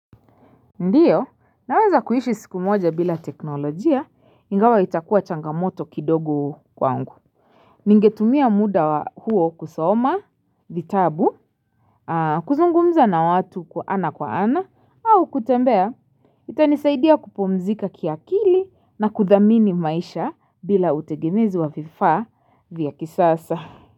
Ndio, naweza kuishi siku moja bila teknolojia, ingawa itakuwa changamoto kidogo kwangu. Ningetumia muda huo kusoma, vitabu. Kuzungumza na watu kwa ana kwa ana au kutembea, itanisaidia kupumzika kiakili na kuthamini maisha bila utegemezi wa vifaa vya kisasa.